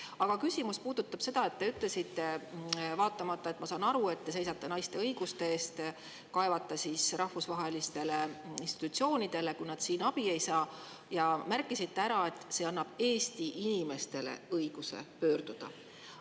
Aga küsimus puudutab seda – ma saan aru, et te seisate naiste õiguste eest kaevata rahvusvahelistele institutsioonidele, kui nad siin abi ei saa –, et te märkisite ära, et see annab Eesti inimestele õiguse pöörduda.